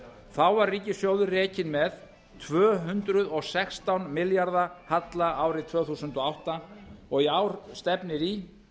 þá var ríkissjóður rekinn með tvö hundruð og sextán milljarða halla árið tvö þúsund og átta og í ár stefnir